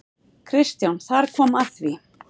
KRISTJÁN: Þar kom að því!